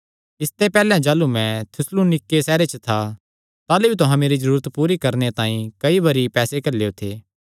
इसते पैहल्ले जाह़लू मैं थिस्सलुनीके सैहरे च था ताह़लू भी तुहां मेरी जरूरत पूरी करणे तांई कई बरी पैसे घल्लेयो थे